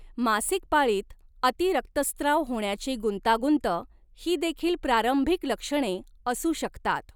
मासिक पाळीत अति रक्तस्त्राव होण्याची गुंतागुंत ही देखील प्रारंभिक लक्षणे असू शकतात.